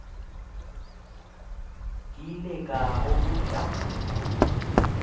ke ile ka go botša